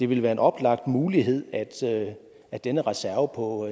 ville være en oplagt mulighed at at denne reserve på